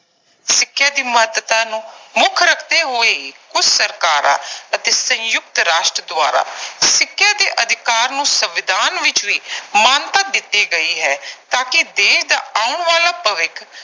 ਸਿੱਖਿਆ ਦੀ ਮਹੱਤਤਾ ਨੂੰ ਮੁੱਖ ਰੱਖਦੇ ਹੋਏ ਕੁਝ ਸਰਕਾਰਾਂ ਅਤੇ ਸੰਯੁਕਤ ਰਾਸ਼ਟਰ ਦੁਆਰਾ ਸਿੱਖਿਆ ਦੇ ਅਧਿਕਾਰ ਨੂੰ ਸੰਵਿਧਾਨ ਵਿੱਚ ਵੀ ਮਾਨਤਾ ਦਿੱਤੀ ਗਈ ਹੈ ਤਾਂ ਕਿ ਦੇਸ਼ ਦਾ ਆਉਣ ਵਾਲਾ ਭਵਿੱਖ